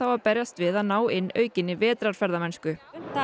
að berjast við að ná inn aukinni vetrarferðamennsku það